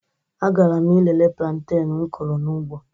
A gara m ilele planteñ m kụrụ n'ugbo